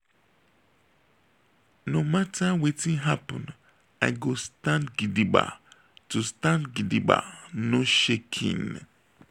no mata wetin happen i go stand gidigba go stand gidigba no shaking.